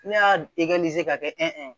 Ne y'a ka kɛ